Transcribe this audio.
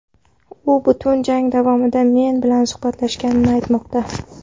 U butun jang javomida men bilan suhbatlashganini aytmoqda.